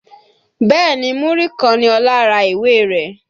Bẹ́ẹ̀ni Múrí kan ni Ọlá ra ìwé náà